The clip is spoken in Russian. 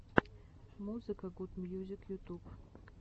музыка гуд мьюзик ютуб